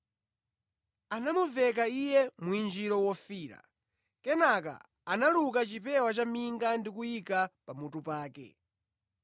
Anamuveka Iye mwinjiro wofiira, kenaka analuka chipewa cha minga ndi kuyika pa mutu pake.